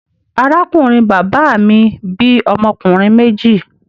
Arákùnrin bàbá mi bí ọmọ ọkùnrin méjì.